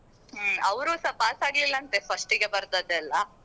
ಹ್ಮ್ ಅವ್ರುಸ pass ಆಗ್ಲಿಲ್ಲ ಅಂತೆ first ಗೆ ಬರ್ದದ್ದೇಲ್ಲಾ.